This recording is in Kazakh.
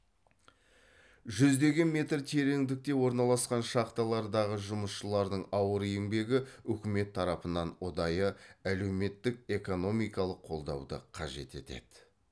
жүздеген метр тереңдікте орналасқан шахталардағы жұмысшылардың ауыр еңбегі үкімет тарапынан ұдайы әлеуметтік экономикалық қолдауды қажет етеді